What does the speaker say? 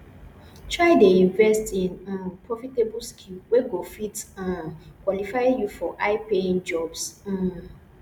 try dey invest in um profitable skill wey go fit um qualify you for high paying jobs um